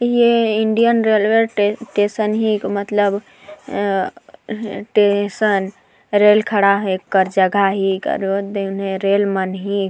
ये Indian railway station हिक मतलब अ टेशन रेल खड़ा है कर जगह हिक अउ ओदे उन्हैं रेल मन हिक।